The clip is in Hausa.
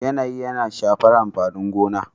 yanayi yana shafar amfanin gona